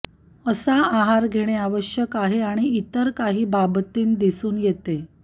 अशा आहार घेणे आवश्यक आहे आणि इतर काही बाबतींत दिसून येते